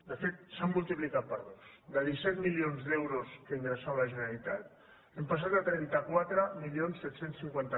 de fet s’han multiplicat per dos de disset milions d’euros que ingressava la generalitat hem passat a trenta quatre mil set cents i cinquanta